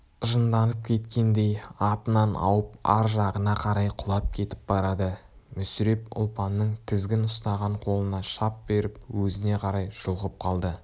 жынданып кеткендей атынан ауып ар жағына қарай құлап кетіп барады мүсіреп ұлпанның тізгін ұстаған қолына шап беріп өзіне қарай жұлқып қалды